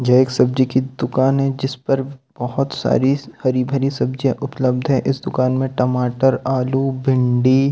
ये एक सबजी की दुकान हे जिसपे बहत सारी हरीभारी सबजी उपलब्द हे इस दुकान पर टमाटर आलू भेंड़ी--